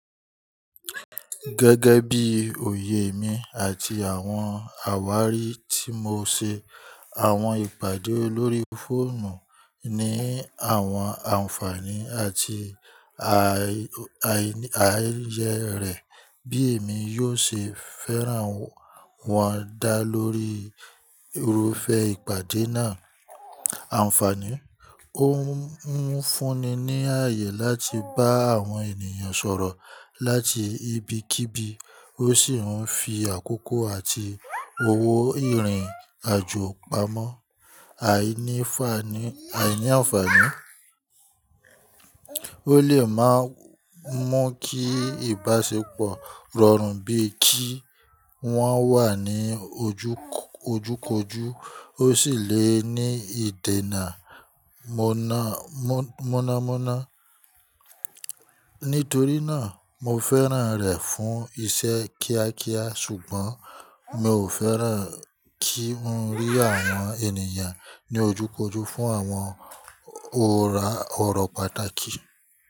Gẹ́gẹ́ bí òye mi àti àwọn àwárí tí mo ṣe, àwọn ìpàdé lórí fóònù ní àwọn àǹfààní àti àíyẹ́ rẹ̀, bí èmi yóò ṣe fẹ́ràn wọn dá lórí irúfẹ́ ìpàdé náà. Àǹfààní: Ó ń fúnni ní àayè láti bá àwọn ènìyàn sọ̀rọ̀ láti ibikíbi, ó sì ń fi àkókò àti owó ìrìn-àjò pamọ́. Àìní àǹfààní: Ó lè má mú kí ìbáṣepọ̀ rọrùn bíi kí wọ́n wà ní ojúkójú, ó sì lè ní ìdènà mọ̀nàmọ́ná. Nítorí náà, mo fẹ́ràn rẹ̀ fún iṣẹ́ kíákíá, ṣùgbọ́n mi ò fẹ́ràn kí n rí àwọn ènìyàn ní ojúkójú fún àwọn ọ̀rọ̀ pàtàkì.